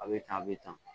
A bɛ tan a bɛ tan